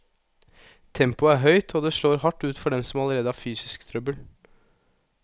Tempoet er høyt, og det slår hardt ut for dem som allerede har fysisk trøbbel.